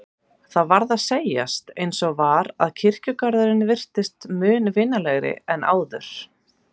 Það varð að segjast eins og var að kirkjugarðurinn virtist mun vinalegri en áður.